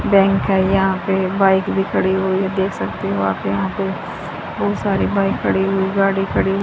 bank है यहां पे बाइक भी खड़ी हुई हैं देख सकते हो आप यहां पे बहोत सारी बाइक खड़ी हुई गाड़ी खड़ी हुई--